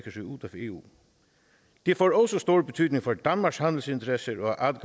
eu det får også stor betydning for danmarks handelsinteresser